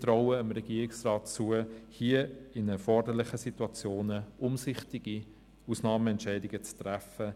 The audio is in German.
– Wir trauen es dem Regierungsrat zu, in den erforderlichen Situationen umsichtige Ausnahmeentscheide zu treffen.